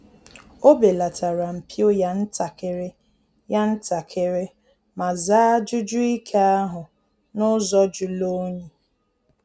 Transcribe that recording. Ọ belatara mpio ya ntakịrị ya ntakịrị ma zaa ajụjụ ike ahu n’ụzọ julu onyi